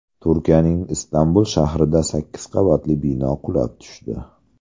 Turkiyaning Istanbul shahrida sakkiz qavatli bino qulab tushdi.